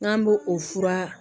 N'an b'o o fura